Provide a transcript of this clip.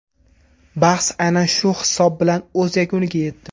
Bahs aynan shu hisob bilan o‘z yakuniga yetdi.